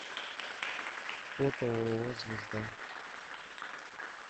фото ооо звезда